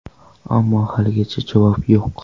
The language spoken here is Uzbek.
Ammo haligacha javob yo‘q”.